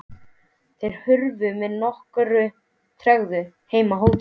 Þeir hurfu með nokkurri tregðu heim á hótelið.